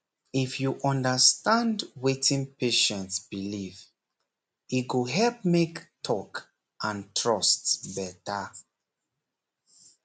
if you understand wetin patient believe e go help make talk and trust better